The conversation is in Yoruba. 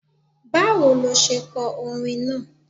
Báwo lo se ko orin náà?